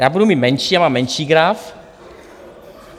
Já budu mít menší, já mám menší graf.